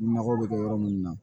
Nɔgɔ bɛ kɛ yɔrɔ minnu na